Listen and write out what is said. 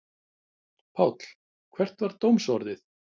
Páll, hvert var dómsorðið?